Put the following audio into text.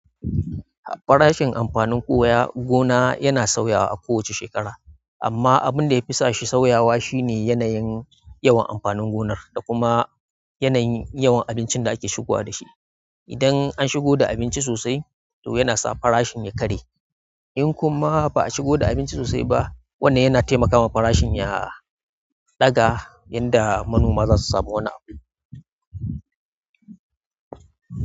Farashin amfanin koya gona yana sauyawa a kowace shekara, amma abin da ya fi sa shi sauyawa shine yanayin yawan amfanin gonar da kuma yanayin yawan abincin da ake shigowa da shi. Idan an shigo da abinci sosai to yana sa farashin ya karye, in kuma ba a shigo da abinci sosai ba, wannan yana taimakawa farashin ya ɗaga, yanda manoma za su samu wani amfani.